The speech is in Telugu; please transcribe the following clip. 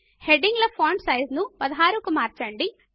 హెడింగ్ ల ఫాంట్ సైజ్ ను 16 కు మార్చండి